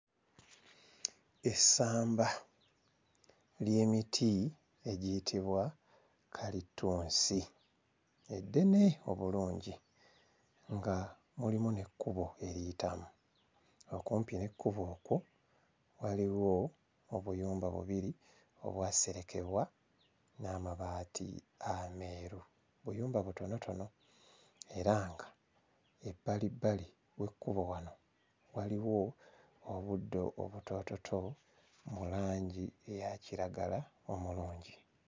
Essamba ly'emiti egiyitibwa kalitunsi eddene obulungi nga mulimu n'ekkubo eriyitamu okumpi n'ekkubo okwo waliwo obuyumba bubiri obw'aserekebwa n'amabaati ameeru obuyumba butonotono era nga ebbali bbali w'ekkubo wano waliwo obuddo obutoototo mu langi eya kiragala omulungi.